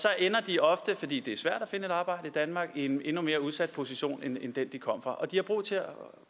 så ender de ofte fordi det er svært at finde et arbejde i danmark i en endnu mere udsat position end den de kom fra de har